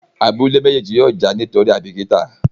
Abúlé méjèjì yóò já nítorí aibikita.